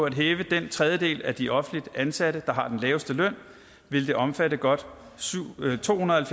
at hæve den tredjedel af de offentligt ansatte der har den laveste løn vil det omfatte godt tohundrede